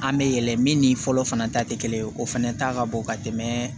An bɛ yɛlɛ min ni fɔlɔ fana ta tɛ kelen ye o fɛnɛ ta ka bon ka tɛmɛ